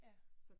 Ja